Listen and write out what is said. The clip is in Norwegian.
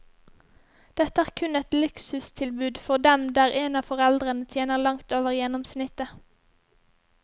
Dette er kun et luksustilbud for dem der en av foreldrene tjener langt over gjennomsnittet.